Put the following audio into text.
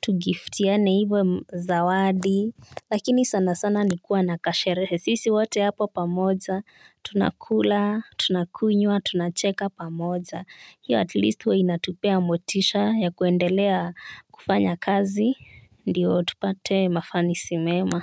to giftiyane hivo zawadi. Lakini sana sana nikuwa na kasherehe sisi wote hapo pamoja, tunakula, tunakunywa, tunacheka pamoja. Hiyo atleast huwa inatupea motisha ya kuendelea kufanya kazi, ndiyo tupate mafanisi mema.